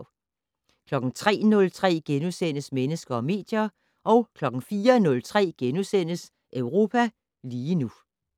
03:03: Mennesker og medier * 04:03: Europa lige nu *